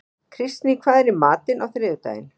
Kristný, hvað er í matinn á þriðjudaginn?